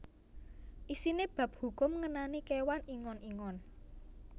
Isiné bab hukum ngenani kéwan ingon ingon